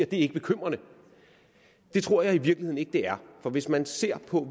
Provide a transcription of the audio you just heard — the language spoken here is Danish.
det ikke bekymrende det tror jeg i virkeligheden ikke det er for hvis man ser på